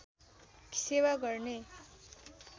सेवा गर्ने